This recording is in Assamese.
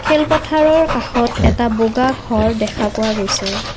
খেল পথাৰৰ কাষত এটা বগা ঘৰ দেখা পোৱা গৈছে।